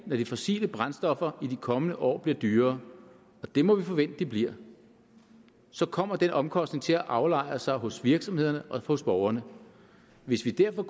de fossile brændstoffer i de kommende år bliver dyrere og det må vi forvente de bliver så kommer den omkostning til at aflejre sig hos virksomhederne og hos borgerne hvis vi derfor